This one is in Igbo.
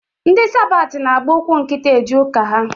Ndị sabat na-agba ụkwụ nkịtị eje ụka ha.